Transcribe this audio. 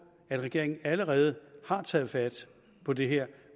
at regeringen allerede har taget fat på det her